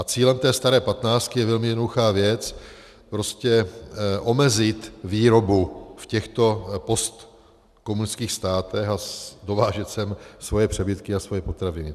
A cílem té staré patnáctky je velmi jednoduchá věc: prostě omezit výrobu v těchto postkomunistických státech a dovážet sem svoje přebytky a svoje potraviny.